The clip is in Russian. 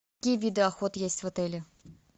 какие виды охот есть в отеле